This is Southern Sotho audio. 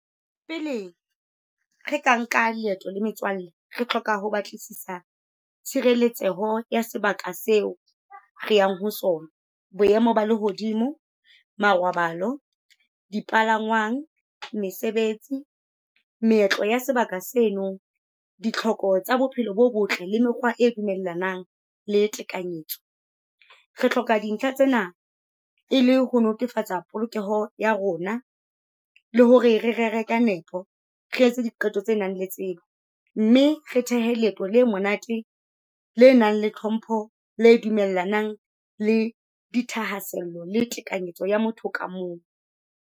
Pele re ka nka leeto le metswalle, re hloka ho batlisisa tshireletseho ya sebaka seo re yang ho sona. Boemo ba lehodimo, marobalo, dipalangwang, mesebetsi, meetlo ya sebaka seno, ditlhoko tsa bophelo bo botle, le mekgwa e dumellanang le tekanyetso. Re hloka dintlha tsena e le ho netefatsa polokeho ya rona le hore re rere ka nepo, re etse diqeto tse nang le tsebo, mme re thehe leeto le monate le nang le tlhompho, le dumellanang le di thahasello le tekanyetso ya motho ka mong.